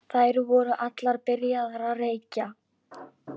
Þær voru allar byrjaðar að reykja.